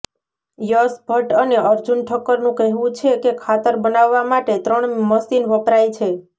યશ ભટ્ટ અને અર્જુન ઠક્કરનું કહેવું છે કે ખાતર બનાવવા માટે ત્રણ મશીન વપરાય છે